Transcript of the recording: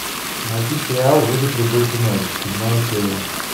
найти сериал выжить любой ценой седьмая серия